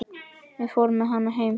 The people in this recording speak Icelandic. Fór með hann heim.